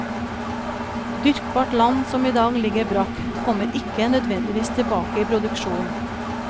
Dyrkbart land som i dag ligger brakk, kommer ikke nødvendigvis tilbake i produksjon.